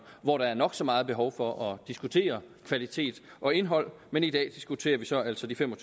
hvor der er nok så meget behov for at diskutere kvalitet og indhold men i dag diskuterer vi så altså de fem og